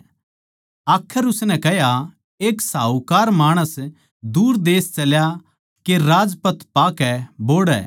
आखर उसनै कह्या एक साहूकार माणस दूर देश तै चल्या के राजपद पाकै बोहड़ै